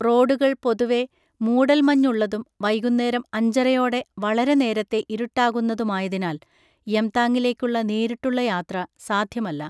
റോഡുകൾ പൊതുവെ മൂടൽമഞ്ഞുള്ളതും വൈകുന്നേരം അഞ്ചരയോടെ വളരെ നേരത്തെ ഇരുട്ടാകുന്നതുമായതിനാൽ യംതാങ്ങിലേക്കുള്ള നേരിട്ടുള്ള യാത്ര സാധ്യമല്ല.